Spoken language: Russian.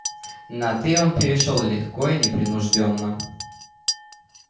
на ты он перешёл легко и непринуждённо